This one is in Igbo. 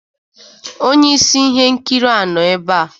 Onye isi ihe nkiri a nọ ebe a